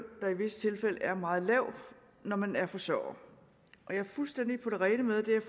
der i visse tilfælde er meget lav når man er forsørger jeg er fuldstændig på det rene med det er